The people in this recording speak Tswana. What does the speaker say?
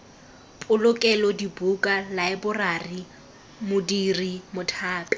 polokelo dibuka laeborari modiri mothapi